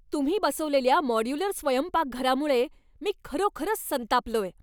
तुम्ही बसवलेल्या मॉड्यूलर स्वयंपाकघरामुळे मी खरोखरच संतापलोय.